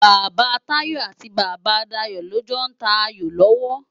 Baba Tayo ati Baba Dayo lò jò n tá áyó lòwò